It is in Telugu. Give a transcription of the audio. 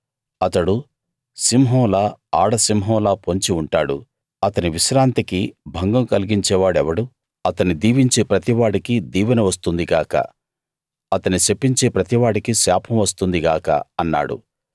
అతడు సింహంలా ఆడ సింహంలా పొంచి ఉంటాడు అతని విశ్రాంతికి భంగం కలిగించేవాడెవడు అతన్ని దీవించే ప్రతివాడికీ దీవెన వస్తుంది గాక అతన్ని శపించే ప్రతివాడికీ శాపం వస్తుంది గాక అన్నాడు